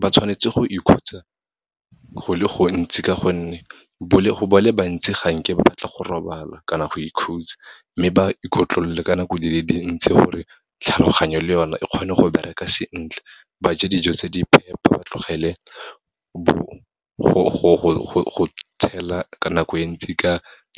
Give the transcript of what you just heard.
Ba tshwanetse go ikhutsa go le gontsi, ka gonne ba le bantsi ga nke ba batla go robala, kana go ikhutsa. Mme ba ikotlolole ka nako di le dintsi, gore tlhaloganyo le yone e kgone go bereka sentle, ba je dijo tse di phepa ba tlogele go tshela ka nako e ntsi ka